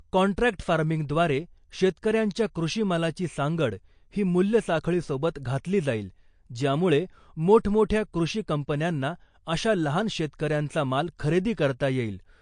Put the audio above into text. Contract farming द्वारे शेतकऱ्यांच्या कृषिमालाची सांगड ही मुल्य साखळी सोबत घातली जाईल ज्यामुळे मोठमोठ्या कृषी कंपन्यांना अशा लहान शेतकऱ्यांचा माल खरेदी करता येईल .